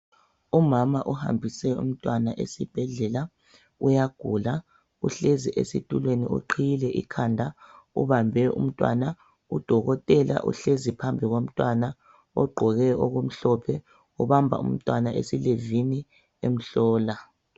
Umama uhambise umntwana esibhedlela, uyagula. Uhlezi esitulweni uqhiyile ikhanda ubambe umntwana. Udokotela uhlezi phambi komntwana ogqoke okumhlophe ubamba umntwana esilevini emhlola.